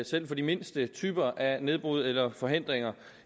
selv for de mindste typer af nedbrud eller forhindringer